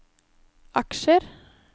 aksjer